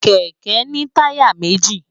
Kèkè ni tàyá méji